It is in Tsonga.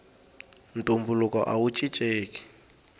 ntumbuluko awu cincenki